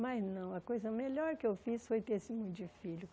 Mas não, a coisa melhor que eu fiz foi ter esse monte de filho.